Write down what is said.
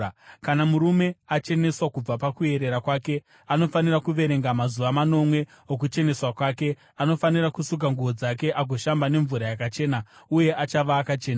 “ ‘Kana murume acheneswa kubva pakuerera kwake, anofanira kuverenga mazuva manomwe okucheneswa kwake; anofanira kusuka nguo dzake agoshamba nemvura yakachena, uye achava akachena.